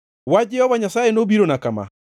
Wach Jehova Nyasaye nobirona kama: